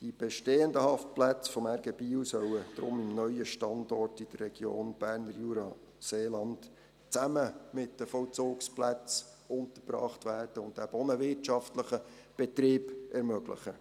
Die bestehenden Haftplätze des RG Biel sollen darum am neuen Standort in der Region Berner Jura-Seeland zusammen mit den Vollzugsplätzen untergebracht werden, was eben auch einen wirtschaftlichen Betrieb ermöglicht.